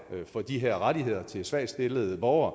for de her rettigheder til svagtstillede borgere at